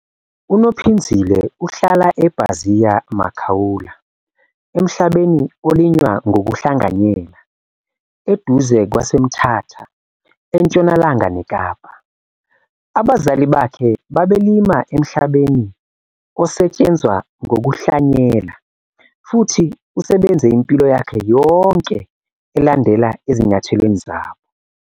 UNophinzile uhlala eBaziya Makaula emhlabeni olinywa ngokuhlanganyela eduze kwaseMthatha eNtshonalanga neKapa. Abazali abakhe babelima emhlabeni osetshenzwa ngokuhlanyela futhi usebenze impilo yakhe yonke elandela ezinyathelweni zabo.